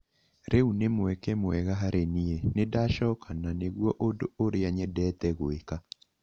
Rĩu nĩ mweke mwega harĩ niĩ, nĩndachoka nanĩguo ũndũ ũria nyendete gwĩka